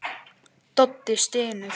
Doddi stynur.